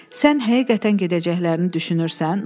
Sən həqiqətən gedəcəklərini düşünürsən?